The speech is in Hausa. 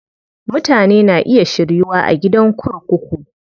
Mutane na iya shiryuwa a gidan kurkuku.